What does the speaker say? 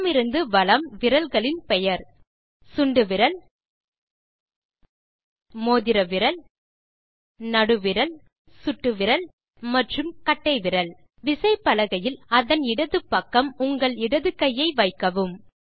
இடமிருந்து வலம் விரல்களின் பெயர் சுண்டுவிரல் மோதிர விரல் நடுவிரல் சுட்டு விரல் மற்றும் கட்டை விரல் விசைப்பலகையில் அதன் இடது பக்கம் உங்கள் இடது கையை வைக்கவும்